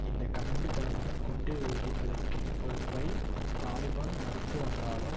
இந்த கண்மூடித்தனமான குண்டு வெடிப்பிற்கான பொறுப்பை தாலிபான் மறுத்து வந்தாலும்